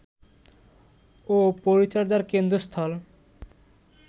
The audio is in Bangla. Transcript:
ও পরিচর্যার কেন্দ্রস্থল